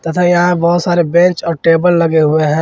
तथा यहां बहोत सारे बेंच और टेबल लगे हुए हैं।